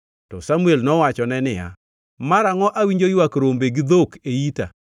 To Samuel nowachone niya, “Marangʼo awinjo ywak rombe gi dhok e ita?”